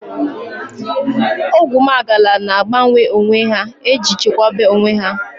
Oguwmagala na agbanwe onwe ha eji chekwaba onwe ya